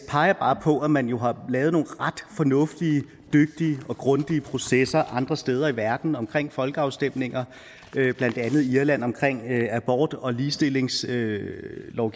peger bare på at man jo har lavet nogle ret fornuftige dygtige og grundige processer andre steder i verden omkring folkeafstemninger blandt andet i irland omkring abort og ligestillingslovgivning